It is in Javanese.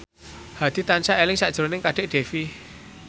Hadi tansah eling sakjroning Kadek Devi